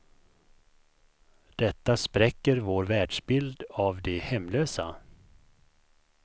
Detta spräcker vår världsbild av de hemlösa.